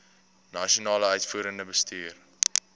nasionale uitvoerende bestuur